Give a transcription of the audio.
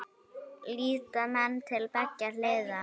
Líta menn til beggja hliða?